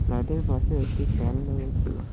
গাড়িটার পাশে একটি ফ্যান রয়েছে।